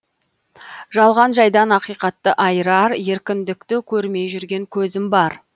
жалған жайдан ақиқатты айырар еркіндікті көрмей жүрген көзім бар